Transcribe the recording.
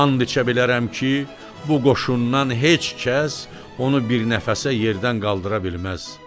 And içə bilərəm ki, bu qoşundan heç kəs onu bir nəfəsə yerdən qaldıra bilməz.